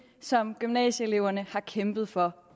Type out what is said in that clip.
som gymnasieeleverne har kæmpet for